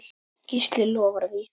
Gísli lofar því.